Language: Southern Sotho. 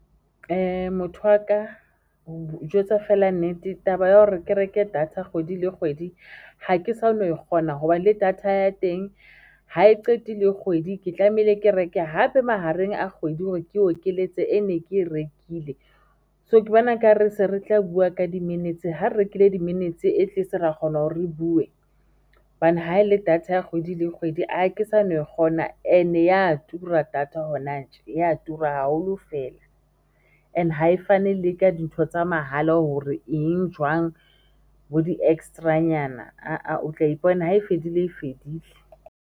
Motho waka ho jwetsa fela nnete. Taba ya hore ke reke data kgwedi le kgwedi ha ke sa kgona hoba le data ya teng ha e qetile kgwedi, ke tlamehile ke reke hape mahareng a kgwedi hore ke o keletso e ne ke e rekile so, ke bona ekare se re tla bua ka di-minutes ha re rekile di-minutes atleast ra kgona hore re bue, hobane ha ele data ya kgwedi le kgwedi a ke sa no kgona and-e ya tura data hona tje ya tura haholo feela and hae fane le ka dintho tsa mahala hore eng jwang bo di-extra-nyana a a o tla ipona ha e fedile, e fedile.